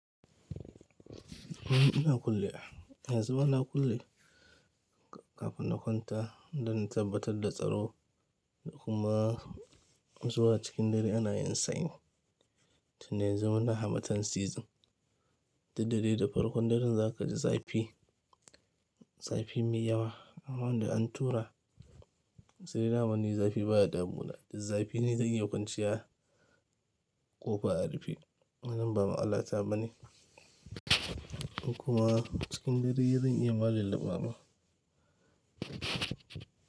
Ni ina kulle wa, yanzu ma na kulle kafin na kwanta don in tabbatar da tsaro kuma zuwa cikin dare ana yin sanyi Tun da yanzu muna harmattan season, duk da dai da farkon daren za ka ji zafi, zafi mai yawa. Amma da an tura sai dama ni zafi baya damuna. Zafi ne zai iya kwanciya kofa a rufe wannan ba matsalat ta ɓa ne. Kuma cikin dare zan iya ma lulluba ma.